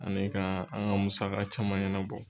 Ani ka an ka musaka caman ɲɛnabɔ.